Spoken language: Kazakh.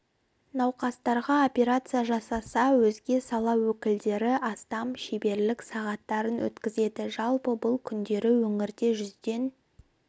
науқастарға операция жасаса өзге сала өкілдері астам шеберлік сағаттарын өткізеді жалпы бұл күндері өңірде жүзден